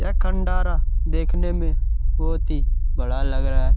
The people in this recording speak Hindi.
यह खण्डारा देखने में बहुत ही बड़ा लग रहा है।